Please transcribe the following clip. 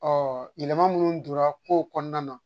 yɛlɛma minnu donra kow kɔnɔna na